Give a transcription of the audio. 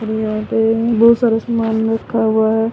और यहा पे बहोत सारे समान लिखा हुआ है।